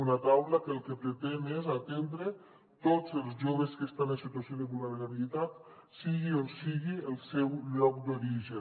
una taula que el que pretén és atendre tots els joves que estan en situació de vulnerabilitat sigui on sigui el seu lloc d’origen